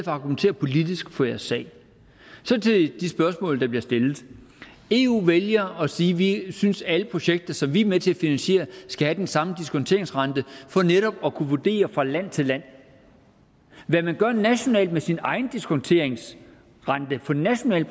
at argumentere politisk for jeres sag så til de spørgsmål der bliver stillet eu vælger at sige vi synes at alle projekter som vi er med til at finansiere skal have den samme diskonteringsrente for netop at kunne vurdere fra land til land hvad man gør nationalt med sin egen diskonteringsrente på nationale